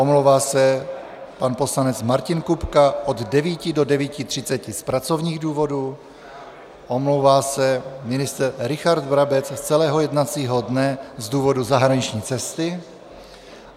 Omlouvá se pan poslanec Martin Kupka od 9 do 9.30 z pracovních důvodů, omlouvá se ministr Richard Brabec z celého jednacího dne z důvodu zahraniční cesty.